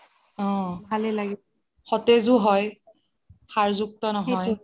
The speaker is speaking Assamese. অহ সতেজও হয় সাৰ যুক্ত নহয়